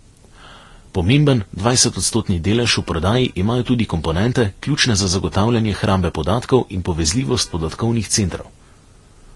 Pomemben, dvajsetodstotni delež v prodaji imajo tudi komponente, ključne za zagotavljanje hrambe podatkov in povezljivost podatkovnih centrov.